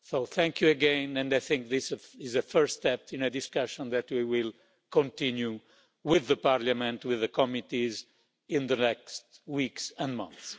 So thank you again, and I think this is a first step in a discussion that we will continue with the Parliament, with the committees in the next weeks and months.